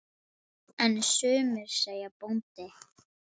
En sumir segja bóndi.